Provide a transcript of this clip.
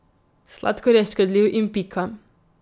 Sladkor je škodljiv in pika.